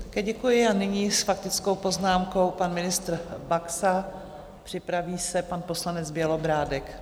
Také děkuji a nyní s faktickou poznámkou pan ministr Baxa, připraví se pan poslanec Bělobrádek.